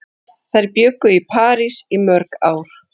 Þær bjuggu í París í mörg ár.